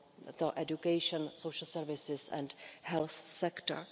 the education, social services and health sector.